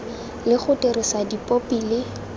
le go dirisa dipopi le